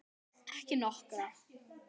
Ekki nokkra.